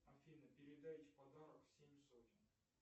афина передайте подарок семь сотен